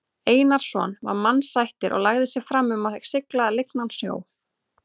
Einarsson var mannasættir og lagði sig fram um að sigla lygnan sjó.